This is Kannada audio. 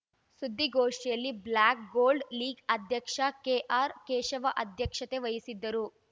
ಸುದ್ದಿಗೋಷ್ಠಿಯಲ್ಲಿ ಬ್ಲಾಕ್‌ ಗೋಲ್ಡ್‌ ಲೀಗ್‌ ಅಧ್ಯಕ್ಷ ಕೆಆರ್‌ ಕೇಶವ ಅಧ್ಯಕ್ಷತೆ ವಹಿಸಿದ್ದರು